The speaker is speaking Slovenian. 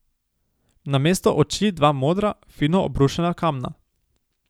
Namesto oči dva modra, fino obrušena kamna.